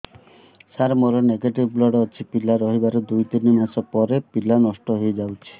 ସାର ମୋର negative blood ଅଛି ପିଲା ରହିବାର ଦୁଇ ତିନି ମାସ ପରେ ପିଲା ନଷ୍ଟ ହେଇ ଯାଉଛି